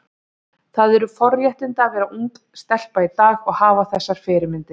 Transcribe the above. Það eru forréttindi að vera ung stelpa í dag og hafa þessar fyrirmyndir.